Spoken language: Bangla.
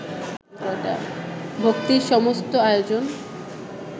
ভক্তির সমস্ত আয়োজন